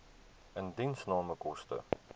indiensname koste